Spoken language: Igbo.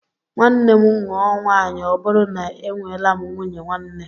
Nwanne m nụọ nwaanyị ọ bụrụ na e nweelam nwunye nwanne